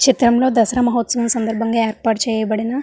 చిత్రంలో దసరా మహోత్సవం సందర్భంగా ఏర్పాటు చేయబడిన --